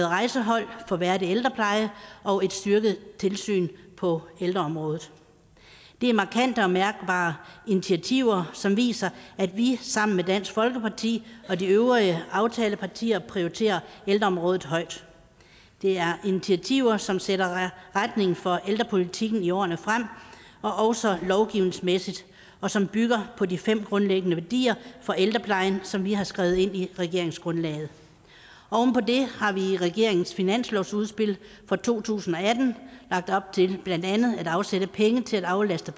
rejsehold for værdig ældrepleje og et styrket tilsyn på ældreområdet det er markante og mærkbare initiativer som viser at vi sammen med dansk folkeparti og de øvrige aftalepartier prioriterer ældreområdet højt det er initiativer som sætter retningen for ældrepolitikken i årene frem også lovgivningsmæssigt og som bygger på de fem grundlæggende værdier for ældreplejen som vi har skrevet ind i regeringsgrundlaget oven på det har vi i regeringens finanslovsudspil for to tusind og atten lagt op til blandt andet at afsætte penge til at aflaste